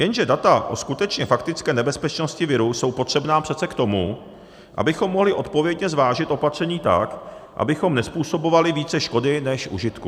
Jenže data o skutečné, faktické nebezpečnosti viru jsou potřebná přece k tomu, abychom mohli odpovědně zvážit opatření tak, abychom nezpůsobovali více škody než užitku.